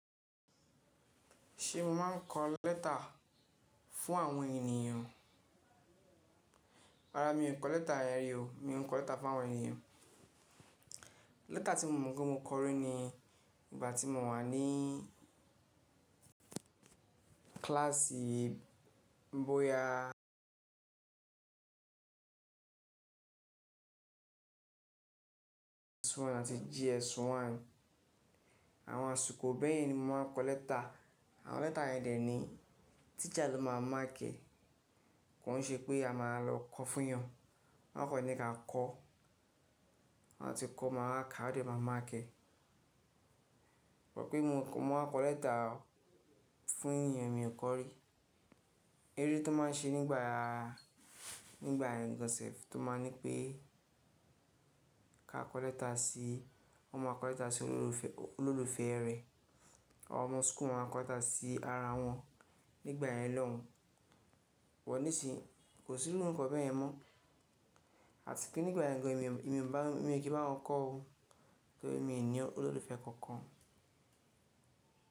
Ṣé mo máa ń kọ lẹ́tà fún àwọn ènìyàn? Rárá mi ò kọ lẹ́tà, yen rí o. Mi ò kọ lẹ́tà fún àwọn ènìyàn. Lẹ́tà tí mo mọ̀ pé mo kọ rí ni ìgbà tí mo wà ní kílàsì bóyá àti JS1. Àwọn àsìkò bẹ́ẹ̀ ni mo máa ń kọ lẹ́tà. Àwọn lẹ́tà yẹn dẹ̀ ní tísa ló máa mark ẹ̀, kò ń ṣe pé a máa lọ kọ fún eyàn. Wọ́n kò ní ka kọ, ti a bati kọ máa wá ká, won de máa márk ẹ̀. Pé mo, mo máa kọ lẹ́tà fún ènìyàn mi ò kọ̀ rí. Eré tó máa ń ṣe nígba, nígbà yẹn gan sef tó máa ń ní pé ká kọ lẹ́tà sí, wọ́n ma kọ lẹ́tà sí olólùfẹ́ rẹ̀. Àwọn ọmọ school máa ń kọ lẹ́tà sí ara wọn nígbà yẹn lọ́hùn. Wọ́n ní sìí, kò sí lórúkọ bẹ́ẹ̀ mọ́. Àti pé nígbà yen gàn, èmi mi ò kí bá wọn kọ ó, torí mi ò ní olólùfẹ́ kankan.